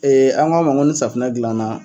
an k'a ma ko ni safinɛ dilan na